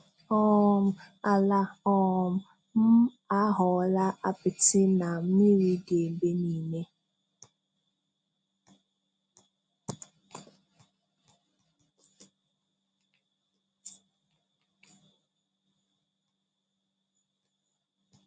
um Ala um m aghọọla apịtị na mmiri dị ebe niile.